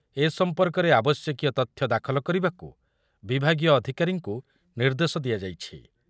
ଏ ସମ୍ପର୍କରେ ଆବଶ୍ୟକୀୟ ଅଧିକାରୀଙ୍କୁ ନିର୍ଦ୍ଦେଶ ଦିଆଯାଇଛି ।